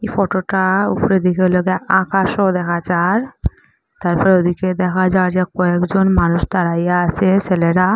এই ফটোটা উপরে দেইখা লইগে আকাশও দেখা যার তারপর ওদিকে দেখা যায় যে কয়েকজন মানুষ দাঁড়াইয়া আসে সেলেরা ।